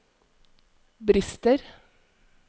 brister